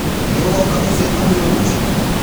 Nĩũgoka mũcemanĩo rũcĩũ?